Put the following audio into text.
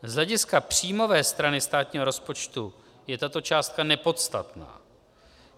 Z hlediska příjmové strany státního rozpočtu je tato částka nepodstatná.